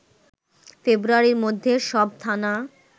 ফেব্রুয়ারির মধ্যে সব থানা